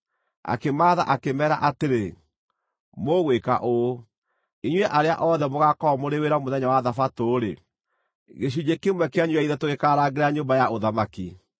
Akĩmaatha akĩmeera atĩrĩ, “Mũgwĩka ũũ: Inyuĩ arĩa othe mũgaakorwo mũrĩ wĩra mũthenya wa thabatũ-rĩ, gĩcunjĩ kĩmwe kĩanyu gĩa ithatũ gĩkaarangĩra nyũmba ya ũthamaki,